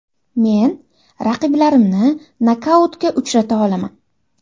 Men raqiblarimni nokautga uchrata olaman”.